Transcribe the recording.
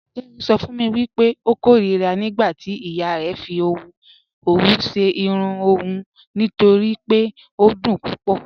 Kẹmi sọ fun mi pẹ̀ ọ kọ̀rira nígbàtí iya rẹ fì ọwù ṣẹ́ irùn ọun nítorí pé ọ dún púpọ̀.